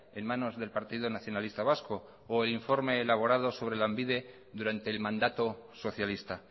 en manos del partido nacionalista vasco o el informe elaborado sobre lanbide durante el mandato socialista